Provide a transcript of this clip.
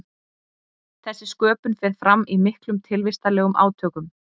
þessi sköpun fer fram í miklum tilvistarlegum átökum